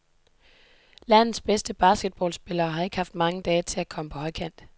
Landets bedste basketballspillere har ikke haft mange dage til at komme på højkant.